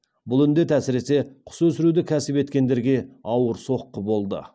бұл індет әсіресе құс өсіруді кәсіп еткендерге ауыр соққы болды